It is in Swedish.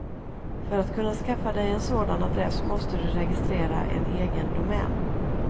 För att kunna skaffa dig en sådan adress måste du registrera en egen domän.